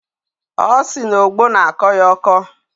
Ọ sị na ogbo na-akọ ya ọkọ.